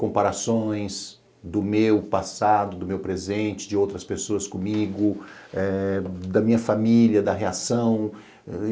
Comparações do meu passado, do meu presente, de outras pessoas comigo, eh da minha família, da reação.